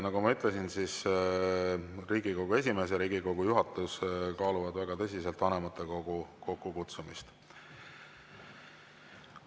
Nagu ma ütlesin, Riigikogu esimees ja Riigikogu juhatus kaaluvad väga tõsiselt vanematekogu kokkukutsumist.